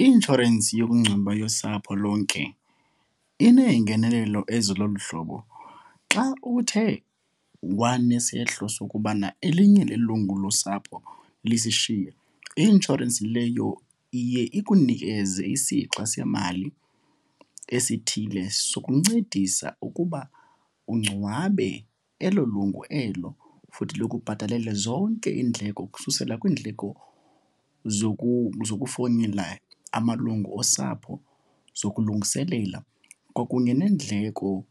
I-inshorensi yokungcwaba yosapho lonke inengenelelo eziloluhlobo. Xa uthe wanesehlo sokubana elinye lelungu losapho lisishiye, i-inshorensi leyo iye ikunikeze isixa semali esithile sokuncedisa ukuba ungcwabe elo lungu elo futhi likubhatalele zonke iindleko ukususela kwiindleko zokufowunela amalungu osapho, zokulungiselela kwakunye neendleko